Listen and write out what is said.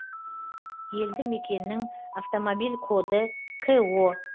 елді мекеннің автомобиль коды ко